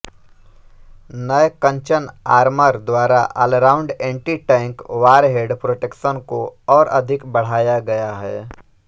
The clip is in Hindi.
नए कंचन आर्मर द्वारा ऑलराउंड एंटीटैंक वॉरहेड प्रोटेक्शन को और अधिक बढ़ाया गया है